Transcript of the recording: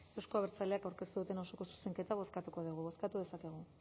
euzko abertzaleak aurkeztu duten osoko zuzenketa bozkatuko dugu bozkatu dezakegu